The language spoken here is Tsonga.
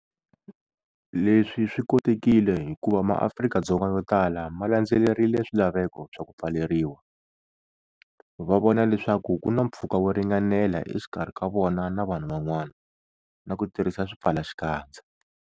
Leswi swi kotekile hikuva maArika-Dzonga yotala ma landzelerile swilaveko swa ku pfaleriwa, va vona leswaku ku na mpfhuka wo ringanela exikarhi ka vona na vanhu van'wana na ku tirhisa swipfalaxikandza.